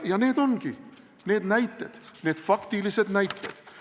Ja need ongi need näited, need faktilised näited.